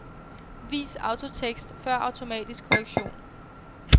Vis autotekst før automatisk korrektion.